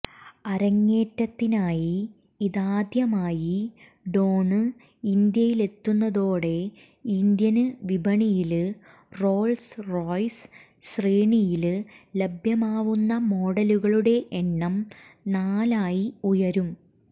അരങ്ങേറ്റത്തിനായി ഇതാദ്യമായി ഡോണ് ഇന്ത്യയിലെത്തുന്നതോടെ ഇന്ത്യന് വിപണിയില് റോള്സ് റോയ്സ് ശ്രേണിയില് ലഭ്യമാവുന്ന മോഡലുകളുടെ എണ്ണം നാലായി ഉയരും